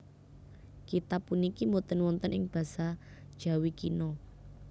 Kitab puniki boten wonten ing basa Jawi kina